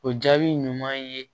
O jaabi ɲuman ye